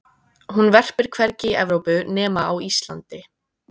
hún verpir hvergi í evrópu nema á íslandi